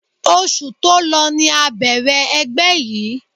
Oṣù tó lọ ni a bẹ̀rẹ̀ ẹgbẹ́ yìí